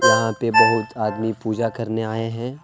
यहां पे बहुत आदमी पूजा करने आए हैं।